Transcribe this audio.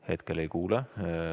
Hetkel ei kuule.